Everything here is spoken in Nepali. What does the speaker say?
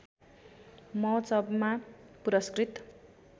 महोत्सवमा पुरस्कृत